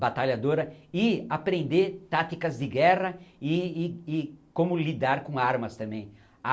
batalhadora e aprender táticas de guerra e e e como lidar com armas também.